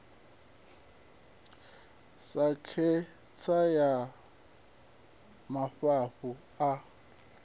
sa khentsa ya mafhafhu a